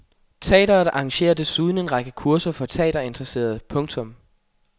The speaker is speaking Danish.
Teatret arrangerer desuden en række kurser for teaterinteresserede. punktum